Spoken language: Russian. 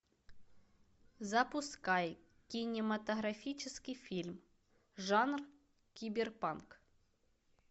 запускай кинематографический фильм жанр киберпанк